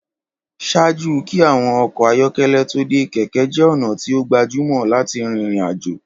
Ṣaaju kí àwọn ọkọ́ ayọkẹlẹ tó dé, kẹ̀kẹ́ jẹ́ ọ̀nà tí o gbajumọ láti rìn ìrìn àjò.